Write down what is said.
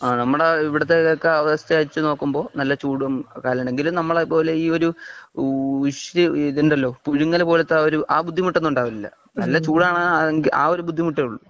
കാലാവസ്ഥ നമ്മുടെ ഇവിടുത്തെ ഈ അവസ്ഥ വെച്ചു നോക്കുമ്പോൾ നല്ല ചൂടും കാലമാണ് എങ്കിലും നമ്മളെ പോലെ ഇ ഒരു വിഷ് ഇതൊണ്ടല്ലോ പുഴുങ്ങലൂ പോലത്തെ ആ ഒരു ആ ബുദ്ധിമുട്ട് ഒന്നും ഉണ്ടാകലില്ല നല്ല ചൂട് ആണ് ആ ഒരു ബുദ്ധിമുട്ടേ ഉള്ളൂ